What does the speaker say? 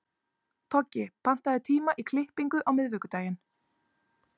Toggi, pantaðu tíma í klippingu á miðvikudaginn.